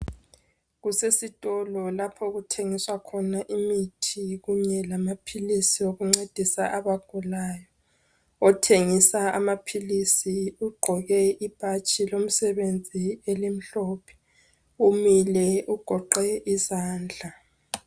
Kusesitolo lapho okuthengiswa khona imithi kunye lamaphilisi okuncedisa abagulayo. Othengisa amaphilisi ugqoke ibhatshi lomsebenzi elimhlophe, umile ugoqe izandla.